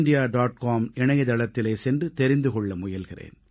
com இணையதளத்திலே சென்று தெரிந்து கொள்ள முயல்கிறேன்